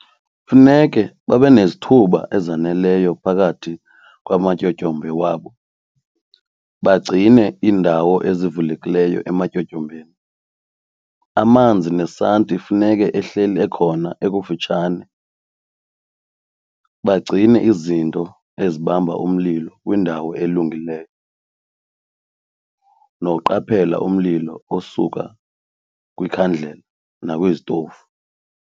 Kufuneke babe nezithuba ezaneleyo phakathi kwamatyotyombe wabo, bagcine iindawo ezivulekileyo ematyotyombeni, amanzi nesanti funeke ehleli ekhona ekufitshane, bagcine izinto ezibamba umlilo kwindawo elungileyo noqaphela umlilo osuka kwikhandlela nakwizitofu.